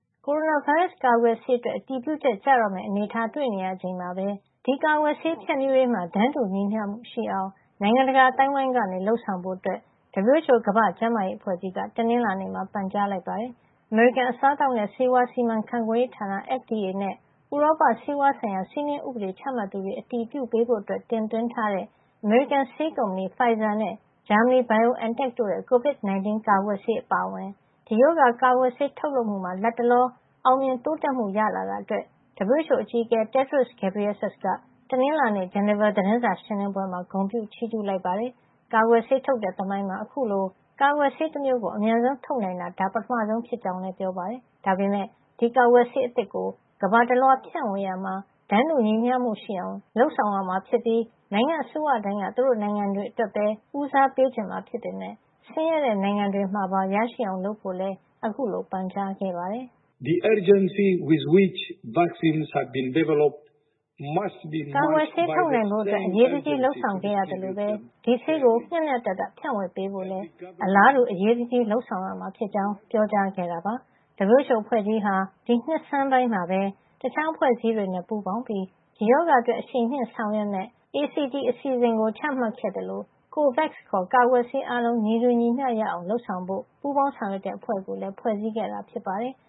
ကိုရိုနာဗိုင်းရပ်စ် ကာကွယ်ဆေးအတွက် အတည်ပြုချက် ကျတော့မယ့်အနေထားတွေ့နေချိန်မှာပဲ ဒီကာကွယ်ဆေး ဖြန့်ဖြူးရေးမှာ တန်းတူညီမ ျှဖြစ်အောင် နိုင်ငံတကာ အသိုင်းဝိုင်းက လုပ်ဆောင်ဖို့ WHO ကမ္ဘာ့ကျန်းမာရေးအဖွဲ့ကြီးက တနင်္လာနေ့မှာပန်ကြားလိုက်ပါတယ်။ အမေရိကန် အစားအသောက်နဲ့ ဆေးဝါးစီမံခန့်ခွဲရေးဌာန FDA နဲ့ ဥရောပဆေးဝါးဆိုင်ရာ စည်းမျဉ်းဥပဒေချမှတ်သူတွေ အတည်ပြုပေးဖို့ တင်သွင်းထားတဲ့ အမေရိကန် ဆေးကုမ္ပဏီ Pfizer နဲ့ ဂျာမဏီက BioNTech တို့ရဲ့ COVID-19 ကာကွယ်ဆေးအပါအဝင် ဒီရောဂါကာကွယ်ဆေးထုတ်လုပ်မှုမှာ လတ်တလော အောင်မြင်တိုးတက်မှုရှိလာတာအတွက် WHO အကြီးအကဲ Tedros Adhanom Ghebreyesus က တနင်္လာနေ့ ဂျနီဗာ သတင်းစာရှင်းလင်းပွဲမှာ ဂုဏ်ပြုချီးကြူးလိုက်ပါတယ်။ ကာကွယ်ဆေးထုတ်တဲ့ သမိုင်းမှာ အခုလို ကာကွယ်ဆေးတမျိုးကို အမြန်ဆုံးထုတ်နိုင်တာ ဒါပထမဆုံ ဖြစ်ကြောင်း ပြောပါတယ်။ ဒါပေမယ့် ဒီကာကွယ်ဆေးအသစ်ကို ကမ္ဘာတလွှား ဖြန့်ဝေရာမှာ တန်းတူညီမ ျှမှု ရှိအောင် စံအသစ် သတ်မှတ်ရမှာ ဖြစ်ပြီး နိုင်ငံ့အစိုးရတိုင်းက သူတို့နိုင်ငံအတွက်ပဲ ဦးစားပေးချင်မှာ ဖြစ်ပေမယ့် ဆင်းရဲတဲ့ နိုင်ငံတွေမှာပါ ရရှိအောင်လုပ်ဖို့လည်း အခုလိုပန်ကြားခဲ့ပါတယ်။ "ကာကွယ်ဆေး ထုတ်နိုင်ဖို့ အရေးတကြီး လုပ်ဆောင်ခဲ့ရသလိုပဲ ဒီဆေးကို မ ျှမ ျှတတ ဖြန့်ဝေ ပေးဖို့လည်း အလားတူ အရေးအကြီး လုပ်ဆောင်ရမှာ ဖြစ်ကြောင်း ပြောကြား ခဲ့တာပါ။ WHO အဖွဲ့ကြီးဟာ ဒီနှစ်ဆန်းပိုင်းမှာပဲ တခြားအဖွဲ့အစည်း တွေနဲ့ပူးပေါင်းပြီး ဒီရောဂါအတွက် အရှိန်မြှင့် ဆောင်ရွက်မယ့် Access to COVID-19 Tools (ACT) အစီစဉ်ကို ချမှတ်ခဲ့သလို COVAX ခေါ် ကာကွယ်ဆေး အားလုံးညီတူညီမ ျှ ရအောင် လုပ်ဆောင်ဖို့ ပူးပေါင်းဆောင်ရွက် တဲ့ အဖွဲ့ကို ဖွဲ့စည်းခဲ့တာ ဖြစ်ပါတယ်။